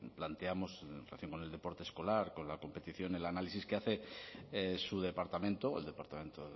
planteamos recién con el deporte escolar con la competición el análisis que hace su departamento el departamento